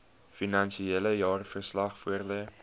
finansiële jaarverslag voorlê